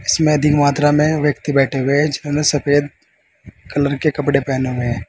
इसमें अधिक मात्रा में व्यक्ति बैठे हुए हैं ज़िन्होने सफेद कलर के कपड़े पहने हुए हैं।